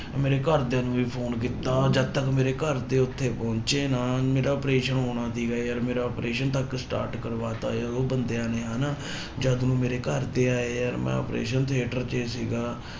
ਮੇਰੇ ਘਰਦਿਆਂ ਨੂੰ ਵੀ ਫ਼ੋਨ ਕੀਤਾ ਜਦ ਤੱਕ ਮੇਰੇ ਘਰਦੇ ਉੱਥੇ ਪਹੁੰਚੇ ਨਾ, ਮੇਰਾ operation ਹੋਣਾ ਸੀਗਾ ਯਾਰ ਮੇਰਾ operation ਤੱਕ start ਕਰਵਾ ਦਿੱਤਾ ਯਾਰ ਉਹ ਬੰਦਿਆਂ ਨੇ ਹਨਾ ਜਦ ਨੂੰ ਮੇਰੇ ਘਰਦੇ ਆਏ ਯਾਰ ਮੈਂ operation theatre ਚ ਸੀਗਾ।